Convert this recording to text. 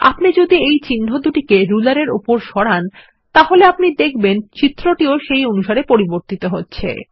আপনি যদি এই চিহ্নদুটিকে রুলার এর ওপর সরান তাহলে আপনি দেখবেন চিত্রটি সেই অনুসারে পরিবর্তিত হচ্ছে